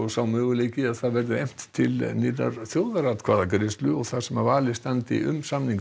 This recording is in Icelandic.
sá möguleiki að efnt til nýrrar þjóðaratkvæðagreiðslu þar sem valið standi um samninginn